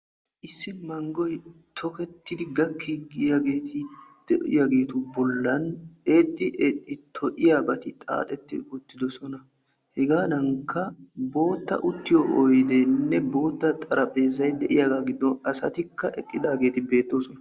Issi manggoy tokkettidi gakkiidi diyaageeti de'iyaageetu bollan eexxi eexxi to"iyaabata xaaxeti uttidoosona. Hegadankka bootta uttiyo oyddenne bootta xarapheezay de'iyaageetu giddon asatikka eqqidaageeti beettoosona.